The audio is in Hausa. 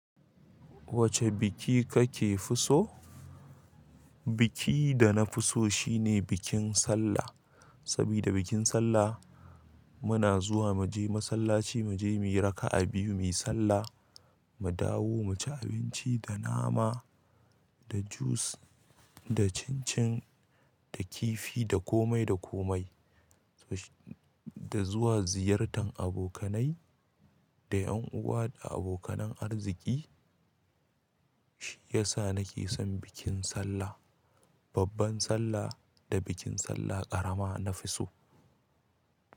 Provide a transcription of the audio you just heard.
Wace biki kake fi so? Biki da na fi so shine bikin Sallah. Sabida bikin Sallah muna zuwa mu je masallaci, mu je mu yi raka'a biyu, mu yi sallah, mu dawo, mu ci abinci da nama, da jus, da cin-cin, da kifi, da komai da komai. Da zuwa ziyartar abokanai, da ƴan uwa da abokanar arziki. Shi yasa nake son bikin Sallah. Babban Sallah da bikin Sallah ƙarama nafi so.